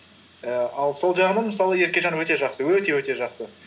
і ал сол жағынан мысалы еркежан өте жақсы өте өте жақсы